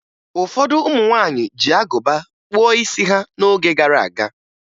Ụfọdụ ụmụ nwaanyị ji agụba kpụọ isi ha n'oge gara aga